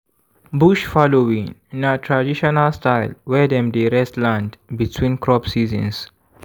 bush fallowing na traditional style wey dem dey rest land between crop seasons.